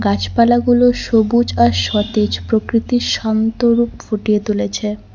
গাছপালাগুলো সবুজ আর সতেজ প্রকৃতির শন্ত রূপ ফুটিয়ে তুলেছে।